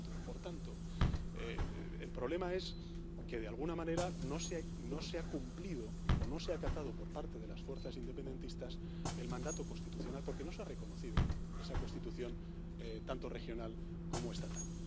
Por tanto, por tanto, el problema es que, de alguna manera, no se ha cumplido o no se acatado por parte de las fuerzas independentistas el mandato constitucional, porque no se ha reconocido esa Constitución tanto regional como estatal.